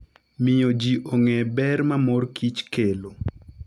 Miyo ji ong'e ber ma mor kich kelo.